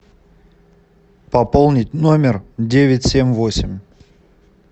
пополнить номер девять семь восемь